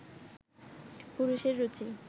পুরুষের রুচি